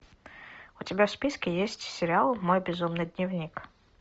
у тебя в списке есть сериал мой безумный дневник